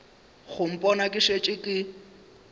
go mpona ke šetše ke